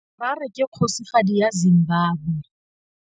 Harare ke kgosigadi ya Zimbabwe.